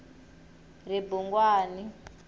ribungwani